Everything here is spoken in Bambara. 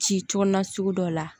Ci cogo na sugu dɔ la